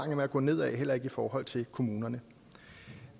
med at gå ned ad heller ikke i forhold til kommunerne